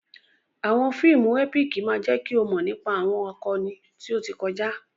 Àwọn fíìmù ẹ́píìkì máa jẹ́ kí o mọ̀ nípa àwọn akọni tí ó ti kọjá.